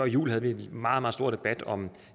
jul havde vi en meget meget stor debat om